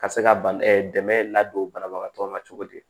Ka se ka dɛmɛ ladon banabagatɔ la cogo di